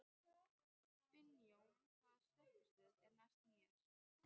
Finnjón, hvaða stoppistöð er næst mér?